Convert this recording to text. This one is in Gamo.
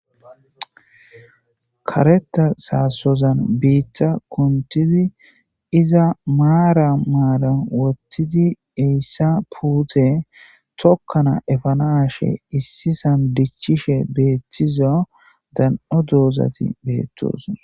karetha sozan biitta kunthidi iza maara maara wothidi heyssa puute tokkana efanaashe issisan diccishe beettizo dan7o doozati beettosonna